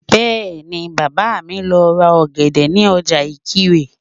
Bẹ́ẹ̀ni, Bàbá mi lọ ra ọ̀gẹ̀dẹ̀ ní ọjà Ìkirè